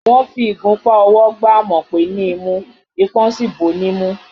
Wọ́n fi ìgunpá ọwọ́ gba Àmọ̀pé ní imú, ipón sì bò ó nímú